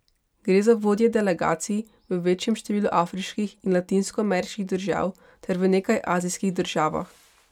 Gre za vodje delegacij v večjem številu afriških in latinskoameriških držav ter v nekaj azijskih državah.